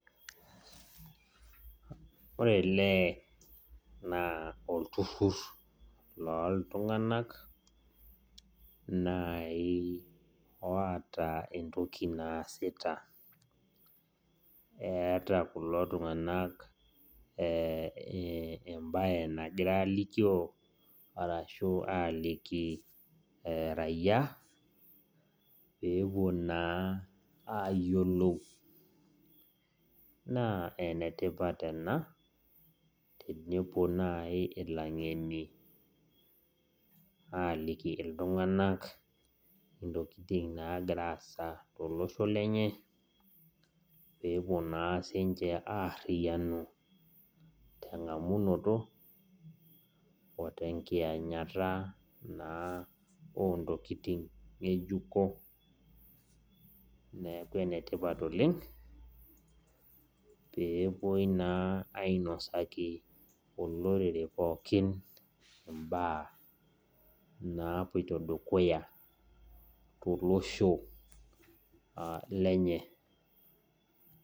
Ore eleee naa olturur loontung'anak oota entoki naasita eeta kulo tung'anak embaye nagira aaloio ashu aaliki rayiqa peepuo na ayiolou naa enetipat ena tenepuo naaji ilang'eni aapuo aaliki iltung'anak enagira aasa tolosho lenye peouo naa aariyianu teng'amunoto ote nkiyanyata oontokitin ng'ejuko neeku enetipat oleng peepuoi naa ainasaki olorere imbaa naapuoito dukuya tolosho lenye